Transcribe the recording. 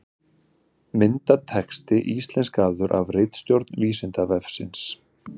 Myndatexti íslenskaður af ritstjórn Vísindavefsins.